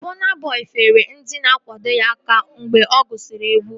Bọna Bọi feere ndị na-akwado ya aka mgbe ọ gụsiri egwu